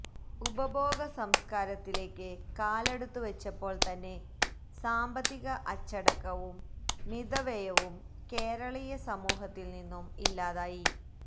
ഉപഭോഗ സംസ്കാരത്തിലേക്ക് കാലെടുത്തുവച്ചപ്പോള് തന്നെ സാമ്പത്തിക അച്ചടക്കവും മിതവ്യയവും കേരളീയ സമൂഹത്തില് നിന്നും ഇല്ലാതായി